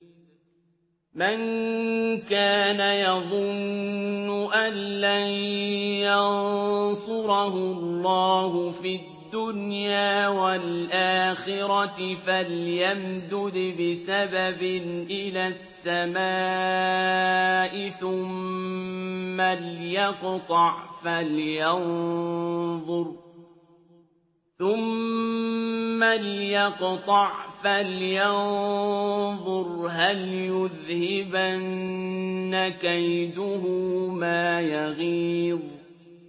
مَن كَانَ يَظُنُّ أَن لَّن يَنصُرَهُ اللَّهُ فِي الدُّنْيَا وَالْآخِرَةِ فَلْيَمْدُدْ بِسَبَبٍ إِلَى السَّمَاءِ ثُمَّ لْيَقْطَعْ فَلْيَنظُرْ هَلْ يُذْهِبَنَّ كَيْدُهُ مَا يَغِيظُ